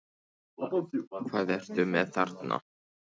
Breki Logason: Hvað ertu með þarna?